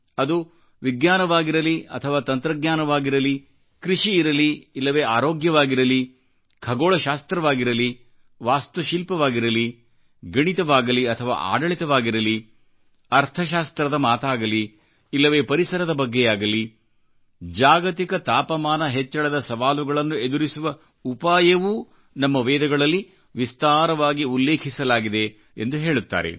ಅದು ವಿಜ್ಞಾನವಾಗಿರಲಿ ಅಥವಾತಂತ್ರಜ್ಞಾನವಾಗಿರಲಿ ಕೃಷಿ ಇರಲಿ ಇಲ್ಲವೆ ಆರೋಗ್ಯವಾಗಿರಲಿ ಖಗೋಳ ಶಾಸ್ತ್ರವಾಗಿರಲಿ ವಾಸ್ತುಶಿಲ್ಪವಾಗಿರಲಿ ಗಣಿತವಾಗಲಿ ಅಥವಾಆಡಳಿತವಾಗಿರಲಿ ಅರ್ಥಶಾಸ್ತ್ರ್ರದ ಮಾತಾಗಲಿ ಇಲ್ಲವೆ ಪರಿಸರದ ಬಗ್ಗೆಯಾಗಲಿ ಜಾಗತಿಕ ತಾಪಮಾನ ಹೆಚ್ಚಳದ ಸವಾಲುಗಳನ್ನು ಎದುರಿಸುವಉಪಾಯವೂ ನಮ್ಮ ವೇದಗಳಲ್ಲಿ ವಿಸ್ತಾರವಾಗಿ ಉಲ್ಲೇಖಿಸಲಾಗಿದೆ ಎಂದು ಹೇಳುತ್ತಾರೆ